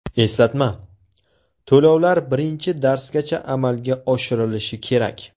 Eslatma: To‘lovlar birinchi darsgacha amalga oshirilishi kerak.